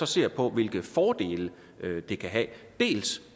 ser på hvilke fordele det kan have